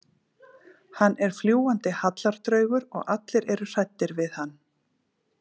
Hann er fljúgandi hallardraugur og allir eru hræddir við hann.